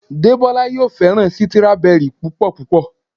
Debola yóò féràn Sítírábẹrì púpò púpọ̀.